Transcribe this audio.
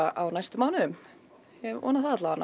á næstu mánuðum ég vona það